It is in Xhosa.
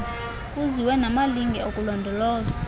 kuziwe namalinge okulondoloza